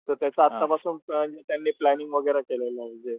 तर त्याच आतापासून त्यांनी प्लँनिंग वैगरे केलेल म्हणजे,